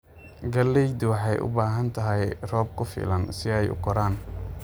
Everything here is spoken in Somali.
Galleydu waxay u baahan tahay roob ku filan si ay u koraan.